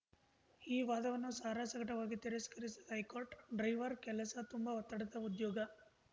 ಈ ವಾದವನ್ನು ಸಾರಾಸಗಟವಾಗಿ ತಿರಸ್ಕರಿಸಿದ ಹೈಕೋರ್ಟ್‌ ಡ್ರೈವರ್ ಕೆಲಸ ತುಂಬಾ ಒತ್ತಡದ ಉದ್ಯೋಗ